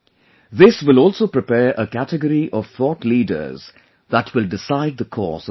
This will also prepare a category of thought leaders that will decide the course of the future